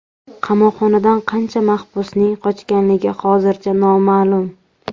Qamoqxonadan qancha mahbusning qochganligi hozircha noma’lum.